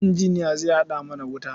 Injiniya zai haɗa mana wuta.